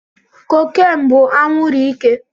Cocaine bú anwuru ike